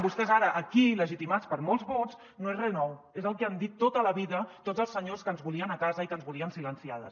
vostès ara aquí legitimats per molts vots no és re nou és el que han dit tota la vida tots els senyors que ens volien a casa i que ens volien silenciades